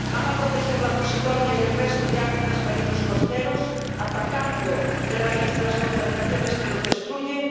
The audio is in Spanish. ¿van a proteger la posidonia y el resto de hábitas marinos costeros atacando de raíz las contaminaciones que los destruyen?